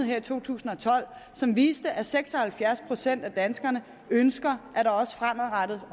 i to tusind og tolv som viste at seks og halvfjerds procent af danskerne ønsker at der også fremadrettet